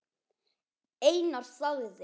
Einar þagði.